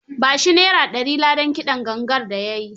Ba shi Naira dari ladan kidan gangar da ya yi.